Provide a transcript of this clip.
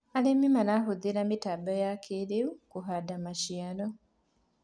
arĩmi marahuthira mitambo ya kĩiriu kuhanda maciaro